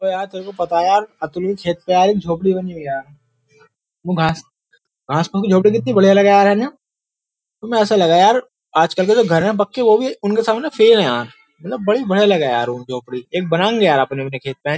यार तेरे को पता है यार अतुल के खेत पे यार एक झोपड़ी बनी हुई है यार वो घास घास को की झोपड़ी कितनी बढ़िया लगे यार है ना तुम्हें ऐसा लगे यार आजकल के जो घर है बक्के वो भी उनके सामने फेल है यार मतलब बड़ी बड़े लगे यार वो झोपड़ी एक बनाएंगे यार अपने अपने खेत पे।